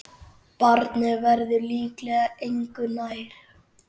Barnið verður líklega engu nær.